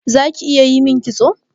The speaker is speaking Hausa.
Zaki iya yimin kitso?